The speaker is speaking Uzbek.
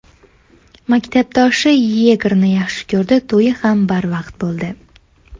Maktabdoshi Yegorni yaxshi ko‘rdi, to‘yi ham barvaqt bo‘ldi.